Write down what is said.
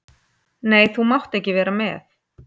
Nei, þú mátt ekki vera með.